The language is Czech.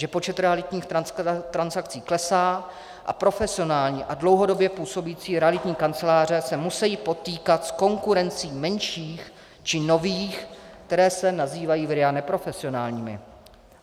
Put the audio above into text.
Že počet realitních transakcí klesá a profesionální a dlouhodobě působící realitní kanceláře se musejí potýkat s konkurencí menších či nových, které se nazývají v RIA neprofesionálními.